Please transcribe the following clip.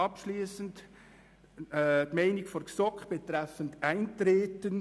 Abschliessend noch die Meinung der GSoK betreffend Eintreten: